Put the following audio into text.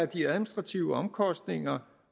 de administrative omkostninger